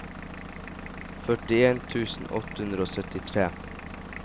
førtien tusen åtte hundre og syttitre